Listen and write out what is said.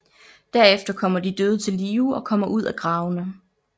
Derefter kommer de døde til live og kommer ud af gravene